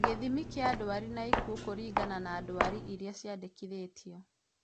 Gĩthimi kĩa ndwari na ikuũ kũringana na ndwari iria ciandĩkithĩtio